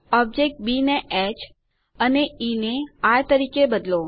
object B ને H અને E ને આર તરીકે બદલો